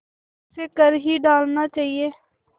उसे कर ही डालना चाहिए